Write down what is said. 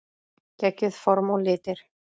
Geggjuð form og litir.